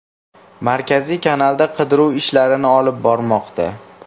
Markaziy kanalda qidiruv ishlarini olib bormoqda.